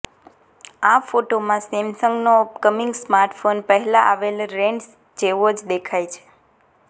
આ ફોટોમાં સેમસંગનો અપકમિંગ સ્માર્ટફોન પહેલા આવેલ રેન્ડર્સ જેવો જ દેખાય છે